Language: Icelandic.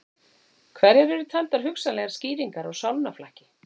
Hverjar eru taldar hugsanlegar skýringar á sálnaflakki?